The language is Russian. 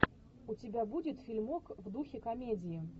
у тебя будет фильмок в духе комедии